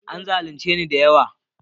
An zalunce ni da yawa